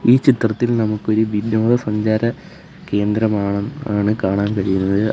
ഈ ചിത്രത്തിൽ നമുക്ക് ഒരു വിനോദ സഞ്ചാര കേന്ദ്രമാണ് ആണ് കാണാൻ കഴിയുന്നത്.